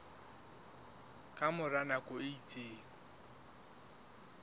ka mora nako e itseng